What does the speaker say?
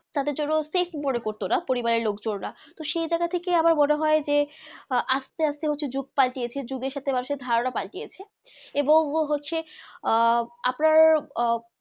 তা দের জন্য সেফ মনে করতো না পরিবারে লোগ জনরা সেই জাইয়েগা থেকে আমার মনে হয়ে যে আহ আস্তে আস্তে যুগ পাল্টিয়ে যুগ সাথে আসে ধারণা পাল্টিয়েছে এবং হচ্ছে আহ আপনার আহ